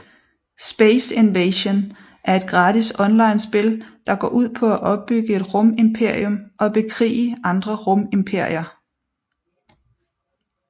SpaceInvasion er et gratis onlinespil der går ud på at opbygge et rumimperium og bekrige andre rumimperier